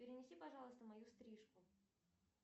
перенеси пожалуйста мою стрижку